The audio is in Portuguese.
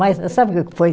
Mas sabe o que foi?